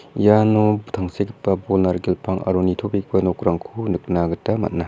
iano tangsekgipa bol narikel pang aro nitobegipa nokrangko nikna gita man·a.